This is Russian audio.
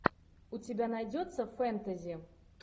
у тебя найдется фэнтези